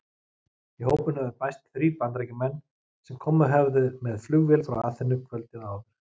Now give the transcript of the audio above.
Í hópinn höfðu bæst þrír Bandaríkjamenn sem komið höfðu með flugvél frá Aþenu kvöldið áður.